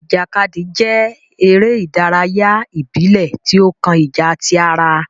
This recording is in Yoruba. Ìjàkadì jẹ eré ìdárayá ibilẹ ti o kàn ìjà tí ará